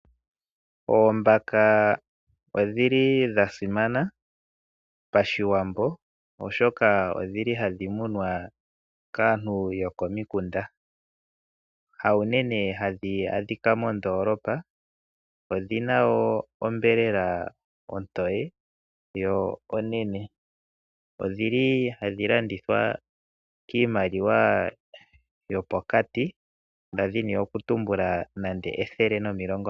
Oombaka odha simana Pashwiwambo, oshoka ohadhi munwa kaantu yokomikunda. Haunene hadhi adhika moondoolopa. Odhi na wo onyama ontoye yo onene. Ohadhi landithwa kiimaliwa yopokati, nda dhini okutumbula ethele nomilongontano.